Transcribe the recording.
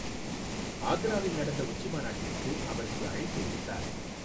ஆக்ராவில் நடந்த உச்சி மாநாட்டிற்கு அவருக்கு அழைப்பு விடுத்தார்.